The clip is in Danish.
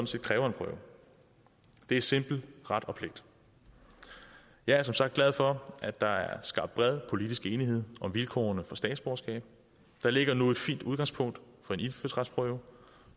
set kræver en prøve det er simpel ret og pligt jeg er som sagt glad for at der er skabt bred politisk enighed om vilkårene for statsborgerskab der ligger nu et fint udgangspunkt for en indfødsretsprøve